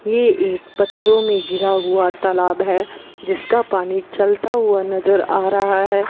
ये एक पत्थरों में गिरा हुआ तालाब है जिसका पानी चलता हुआ नजर आ रहा है।